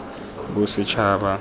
bosetšhaba